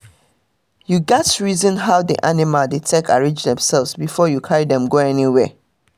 you gats reason how the animals dey arrange demself before you carry dem go anywhere